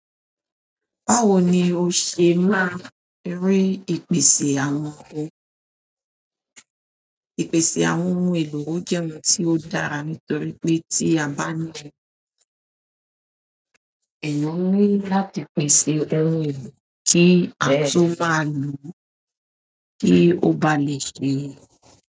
Báwo ni o ṣe máa rí ìpèsè àwọn ìpèsè àwọn ohun èlò? Ò jẹ́ ohun tí ó dára nítorí pé tí a bá ní eeyan ni láti pèsè ohun elo ti o maa lo kí ó bá lè ṣe.